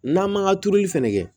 N'an man ka turuli fɛnɛ kɛ